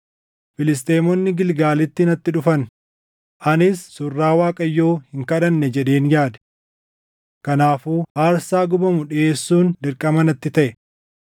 ‘Filisxeemonni Gilgaalitti natti dhufan; anis surraa Waaqayyoo hin kadhanne’ jedheen yaade. Kanaafuu aarsaa gubamu dhiʼeessuun dirqama natti taʼe.”